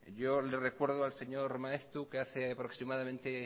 yo le recuerdo al señor maeztu que hace aproximadamente